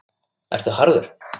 Ertu harður?